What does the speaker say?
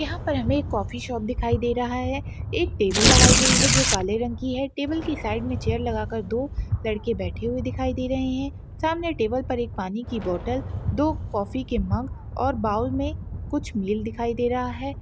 यहाँ पर हमे एक कॉफी शॉप दिखाई दे रहा है एक टेबल लगाई गई है जो काले रंग की है टेबल की साइड में चेयर लगाकर दो लड़के बैठे हुए दिखाई दे रहे हैं सामने टेबल पर एक पानी की बोटल दो काफी के मग और बाउल में कुछ मिल दिखाई दे रहा है।